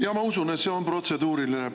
Jaa, ma usun, et see on protseduuriline.